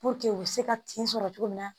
u bɛ se ka tin sɔrɔ cogo min na